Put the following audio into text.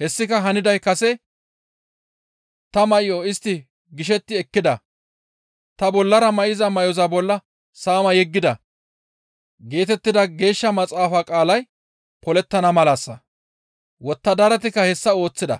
hessika haniday kase, «Ta may7o istti gishetti ekkida; tani bollara may7iza may7oza bolla saama yeggida» geetettida Geeshsha maxaafa qaalay polettana malassa. Wottadaratikka hessa ooththida.